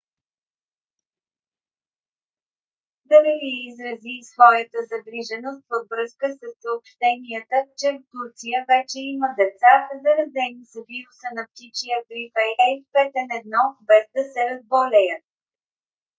д-р лий изрази и своята загриженост във връзка със съобщенията че в турция вече има деца заразени с вируса на птичия грип ah5n1 без да се разболеят